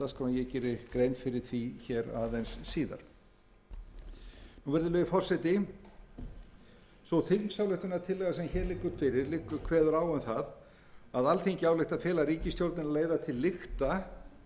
því aðeins síðar virðulegi forseti sú þingsályktunartillaga sem hér liggur fyrir kveður á um það að alþingi álykti að fela ríkisstjórninni að leiða